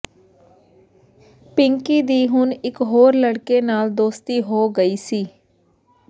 ਪਿੰਕੀ ਦੀ ਹੁਣ ਇਕ ਹੋਰ ਲੜਕੇ ਨਾਲ ਦੋਸਤੀ ਹੋ ਗਈ ਸੀ